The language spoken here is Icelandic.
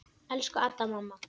Elsku Adda, mamma.